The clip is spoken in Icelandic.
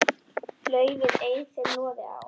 laufin ei þeim loði á.